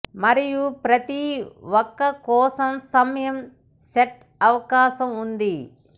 మరియు ప్రతి ఒక కోసం సమయం సెట్ అవకాశం ఉంది